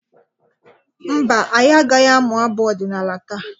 Mba, anyị agaghị amụ abụ ọdịnala taa.